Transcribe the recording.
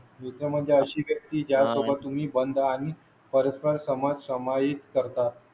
म्हणजे अशी की ज्या सोबत तुम्ही बंद आणि परस्पर समाज समाहित करता.